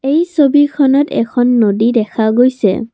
এই ছবিখনত এখন নদী দেখা গৈছে।